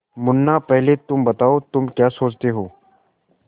मुन्ना पहले तुम बताओ तुम क्या सोचते हो